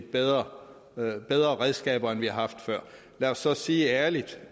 bedre redskaber end vi har haft før lad os så sige ærligt